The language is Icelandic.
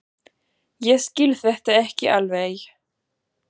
Ég skil þetta ekki alveg.